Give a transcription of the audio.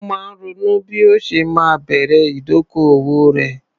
Ó máa ń ronú bí ó ṣe máa bẹ̀rẹ̀ ìdókòwò rẹ̀.